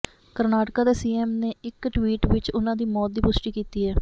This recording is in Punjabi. ਕਰਨਾਟਕਾ ਦੇ ਸੀਐਮ ਨੇ ਇੱਕ ਟਵੀਟ ਵਿੱਚ ਉਨ੍ਹਾਂ ਦੀ ਮੌਤ ਦੀ ਪੁਸ਼ਟੀ ਕੀਤੀ ਹੈ